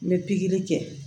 N bɛ pikiri kɛ